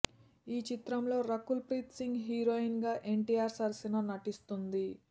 ఈ చిత్రంలో రకుల్ ప్రీత్ సింగ్ హీరోయిన్ గా ఎన్టీఆర్ సరసన నటిస్తుంది